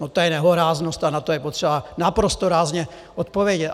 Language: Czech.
No to je nehoráznost a na to je potřeba naprosto rázně odpovědět!